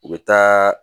U bɛ taa